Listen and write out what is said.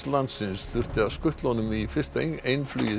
landsins þurfti að skutla honum í fyrsta